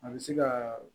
A bɛ se ka